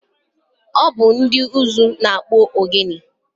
Ọ bụ ndị ụzụ na-akpụ ogene.